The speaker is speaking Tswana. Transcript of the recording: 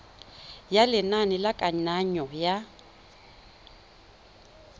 ya lenane la kananyo ya